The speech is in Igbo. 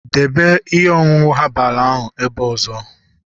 debe ihe ọṅụṅụ herbal ebe ọzọ!